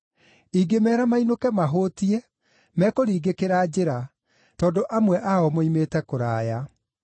Ingĩmeera mainũke mahũũtiĩ mekũringĩkĩra njĩra, tondũ amwe ao moimĩte kũraya.”